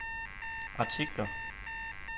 artikler